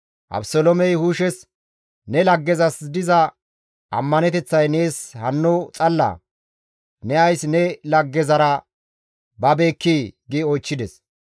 Abeseloomey Hushes, «Ne laggezas diza ammaneteththay nees hanno xallaa? Ne ays ne laggezara babeekkii?» gi oychchides.